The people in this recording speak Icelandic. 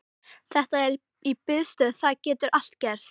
Þetta er í biðstöðu, það getur allt gerst.